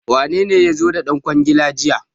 Wanene ya zo da ɗan kwangilar jiya?